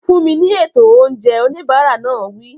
Fún mi ní ètò oúnjẹ! Oníbàárà náà wí.